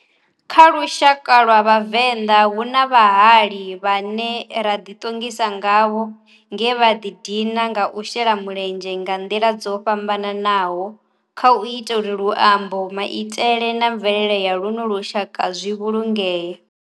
Kha lushaka lwa Vhavenda hu na vhahali vhane ra di tongisa ngavho nge vha dina nga u shela mulenzhe nga ndila dzo fhambananaho khau ita uri luambo maitele na mvelele ya luno lushaka zwi vhulungee.